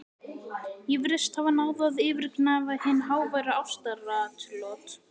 Ég virðist hafa náð að yfirgnæfa hin háværu ástaratlot